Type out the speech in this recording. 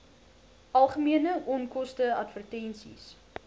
algemene onkoste advertensies